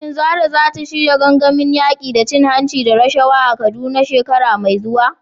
Shin Zarah za ta shirya gangamin yaƙi da cin hanci da rashawa a Kaduna shekara mai zuwa?